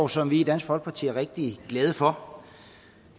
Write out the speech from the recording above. som vi i dansk folkeparti er rigtig glade for